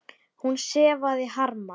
Hún sefaði harma.